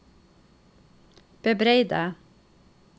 bebreide